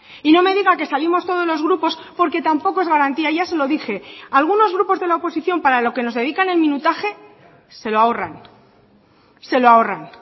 y no me diga que salimos todos los grupos porque tampoco es garantía ya se lo dije algunos grupos de la oposición para lo que nos dedican el minutaje se lo ahorran se lo ahorran